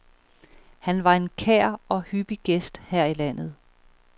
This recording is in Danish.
Han var en kær og hyppig gæst her i landet.